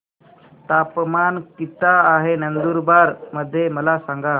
तापमान किता आहे नंदुरबार मध्ये मला सांगा